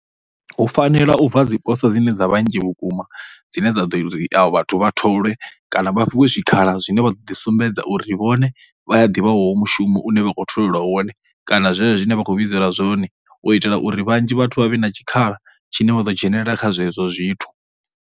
Hu fanela u bva dziposo dzine dza vha nnzhi vhukuma dzine dza ḓo ita uri vhathu vha tholwe kana vha fhiwe zwikhala zwine vha ḓo ḓisumbedza uri vhone vha ya ḓivha mushumo une vha khou tholelwa wone kana zwezwo zwine vha khou vhidzelwa zwone. U itela uri vhanzhi vhathu vha vhe na tshikhala tshine vha ḓo dzhenelela kha zwezwo zwithu.